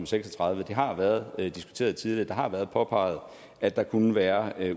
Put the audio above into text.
seks og tredive det har været diskuteret tidligere det har været påpeget at der kunne være